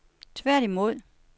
tværtimod